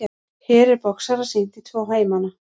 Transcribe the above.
Hér er boxara sýnt í tvo heimana.